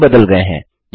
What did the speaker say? यह भी बदल गये हैं